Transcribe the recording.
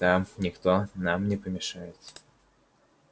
там никто нам не помешает